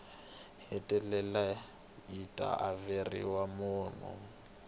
hetelela yi ta averiwa mune